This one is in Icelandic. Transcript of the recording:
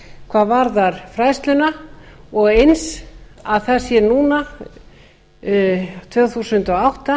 hvað varðar fræðsluna og eins að það sé núna tvö þúsund og átta